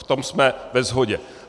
V tom jsme ve shodě.